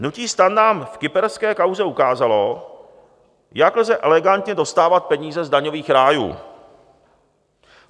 Hnutí STAN nám v kyperské kauze ukázalo, jak lze elegantně dostávat peníze z daňových rájů.